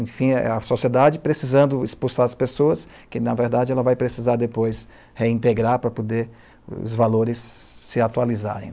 Enfim, é a sociedade precisando expulsar as pessoas que, na verdade, ela vai precisar depois reintegrar para poder os valores se atualizarem.